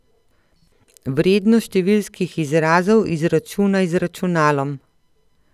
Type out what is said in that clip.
Vrednost številskih izrazov izračunaj z računalom.